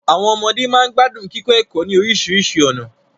Àwọn ọmọde máa ń gbádùn kíkọ ẹ̀kọ́ ní oríṣiríṣi ọ̀nà